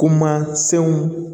Kuma sɛw